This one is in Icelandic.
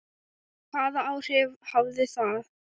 Og hvaða áhrif hafði það?